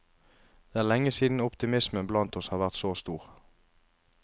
Det er lenge siden optimismen blant oss har vært så stor.